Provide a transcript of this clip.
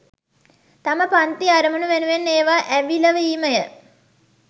තම පංති අරමුණු වෙනුවෙන් ඒවා ඇවිලවීමය.